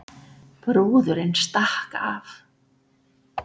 Brúðurin stakk af